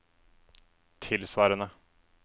tilsvarende